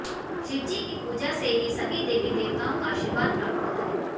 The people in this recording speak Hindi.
शिव जी की पूजा से ही सभी देवी देवताओं का आशीर्वाद प्राप्त होता है